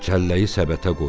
Çəlləyi səbətə qoydu.